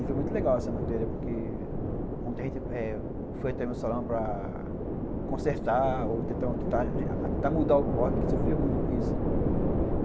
E foi muito legal essa matéria, porque ontem a gente eh foi até o meu salão para consertar, ou tentar mudar o corte, que sofria muito com isso, né.